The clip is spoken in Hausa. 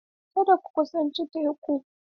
Kada ku kusanci teku!